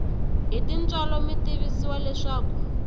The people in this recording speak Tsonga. hi tintswalo mi tivisiwa leswaku